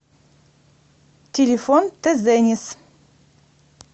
телефон тезенис